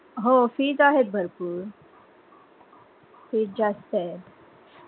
हो fees आहेत भरपूर fees जास्त आहेत.